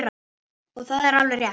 Og það er alveg rétt.